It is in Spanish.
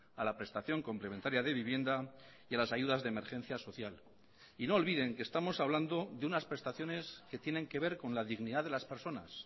a la prestación complementaria de vivienda y a las ayudas de emergencia social y no olviden que estamos hablando de unas prestaciones que tienen que ver con la dignidad de las personas